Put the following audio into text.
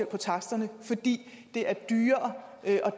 på taksterne fordi det er dyrere at